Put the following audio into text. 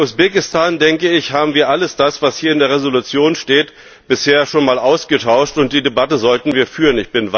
Bei Usbekistan, denke ich, haben wir alles das, was hier in der Entschließung steht, bisher schon einmal ausgetauscht, und die Debatte sollten wir führen.